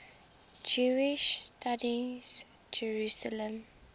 jewish studies jerusalem